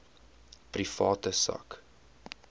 private sak